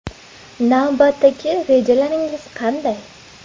Navbatdagi rejalaringiz qanday?